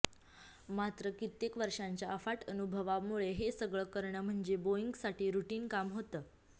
मात्र कित्येक वर्षांच्या अफाट अनुभवामुळे हे सगळं करणं म्हणजे बोइंगसाठी रूटीन काम होतं